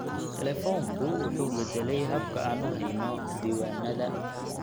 Telefoonku wuxuu beddelay habka aan u hayno diiwaannada.